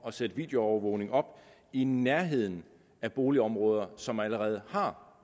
at sætte videoovervågning op i nærheden af boligområder som allerede har